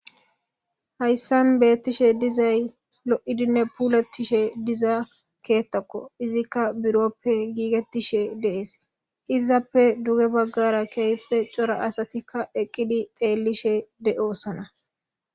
Haysan beettishe dizay lo'idinne puulatishe diza ketako, izika buroppe giigetishe de'es, izappe duge bagara keehippe cora asatika eqidi xeelishe de'osona